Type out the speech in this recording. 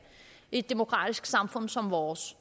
i et demokratisk samfund som vores